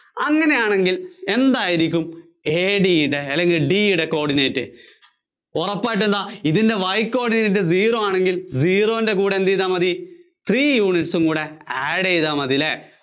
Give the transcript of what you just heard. അങ്ങിനെയാണെങ്കില്‍ എന്തായിരിക്കും AD യുടെ അല്ലെങ്കില്‍ D യുടെ coordinate? ഉറപ്പായിട്ടും എന്താ ഇതിന്‍റെ Y coordinate Zero ആണെങ്കില്‍ zero ന്‍റെ കൂടെ എന്തുചെയ്താല്‍ മതി? three units ഉം കൂടെ add ചെയ്താല്‍ മതി അല്ലേ?